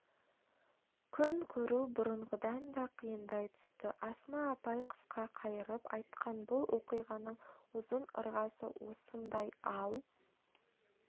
күн көру бұрынғыдан да қиындай түсті асма апай қысқа қайырып айтқан бұл оқиғаның ұзын-ырғасы осындай ал